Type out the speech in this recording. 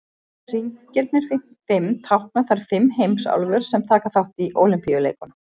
Hringirnir fimm tákna þær fimm heimsálfur sem taka þátt í Ólympíuleikunum.